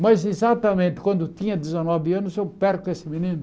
Mas exatamente quando tinha dezenove anos, eu perco esse menino.